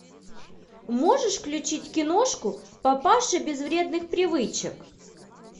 можешь включить киношку папаши без вредных привычек